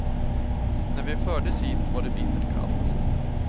När vi fördes hit var det bittert kallt.